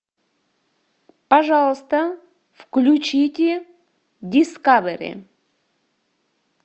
пожалуйста включите дискавери